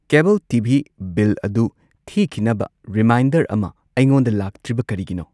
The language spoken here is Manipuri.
ꯀꯦꯕꯜ ꯇꯤ ꯚꯤ ꯕꯤꯜ ꯑꯗꯨ ꯊꯤꯈꯤꯅꯕ ꯔꯤꯃꯥꯏꯟꯗꯔ ꯑꯃ ꯑꯩꯉꯣꯟꯗ ꯂꯥꯛꯇ꯭ꯔꯤꯕ ꯀꯔꯤꯒꯤꯅꯣ?